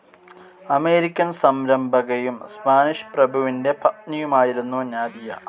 American സംരംഭകയും Spanish പ്രഭുവിൻ്റെ പത്നിയുമായിരുന്നു നാദിയ.